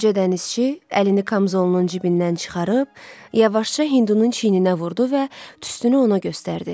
Qoca dənizçi əlini kamzolunun cibindən çıxarıb, yavaşca hindunun çiyninə vurdu və tüstünü ona göstərdi.